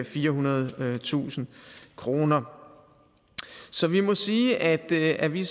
firehundredetusind kroner så vi må sige at vi at vi